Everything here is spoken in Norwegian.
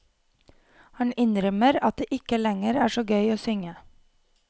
Han innrømmer at det ikke lenger er så gøy å synge.